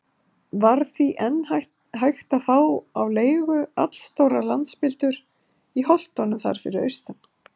Var því enn hægt að fá á leigu allstórar landspildur í holtunum þar fyrir austan.